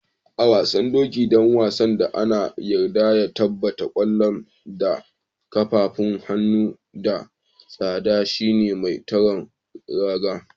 A'wasan hoki dan wasan da ana yarda ya tabba kwallon da kafafu, hannu da tsanda shine mai tsaron raga.